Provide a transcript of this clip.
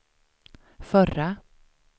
förra